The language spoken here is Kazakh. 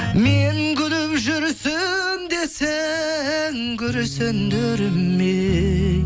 мен күліп жүрсем де сен күрсіндірме ей